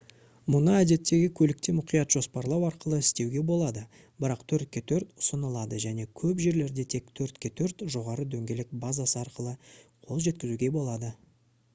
мұны әдеттегі көлікте мұқият жоспарлау арқылы істеуге болады бірақ 4x4 ұсынылады және көп жерлерде тек 4x4 жоғары дөңгелек базасы арқылы қол жеткізуге болады